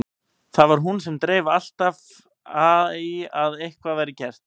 Það var hún sem dreif alltaf í að eitthvað væri gert.